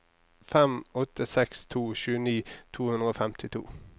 fem åtte seks to tjueni to hundre og femtito